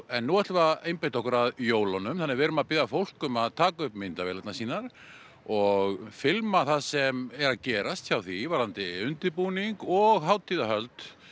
en nú ætlum við að einbeita okkur að jólunum þannig að við erum að biðja fólk um að taka upp myndavélarnar sínar og filma það sem er að gerast hjá því varðandi undirbúning og hátíðarhöld